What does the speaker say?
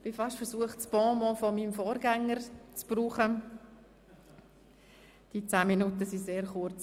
Ich bin beinahe versucht, das Bonmot meines Vorgängers zu benutzen – die zehn Minuten waren sehr kurz.